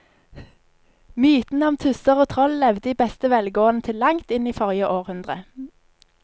Mytene om tusser og troll levde i beste velgående til langt inn i forrige århundre.